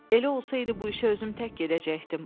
Elə olsaydı bu işə özüm tək gedəcəkdim.